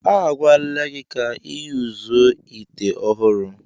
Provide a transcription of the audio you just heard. A gwala gi ka i yuzuo ite ohuru.